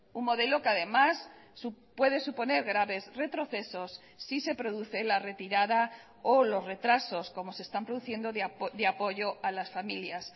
un modelo que además puede suponer graves retrocesos si se produce la retirada o los retrasos como se están produciendo de apoyo a las familias